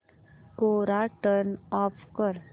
कोरा turn off कर